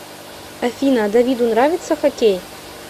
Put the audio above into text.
афина давиду нравится хоккей